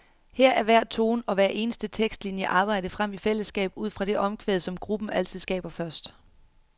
Her er hver tone og hver eneste tekstlinie arbejdet frem i fællesskab udfra det omkvæd, som gruppen altid skaber først.